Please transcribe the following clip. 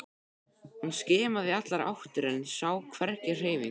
Hún skimaði í allar áttir en sá hvergi hreyfingu.